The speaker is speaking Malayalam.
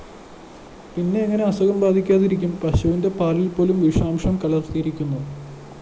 പിന്നെ എങ്ങനെ അസുഖം ബാധിക്കാതിരിക്കും? പശുവിന്റെ പാലില്‍പ്പോലും വിഷാംശം കലര്‍ന്നിരിക്കുന്നു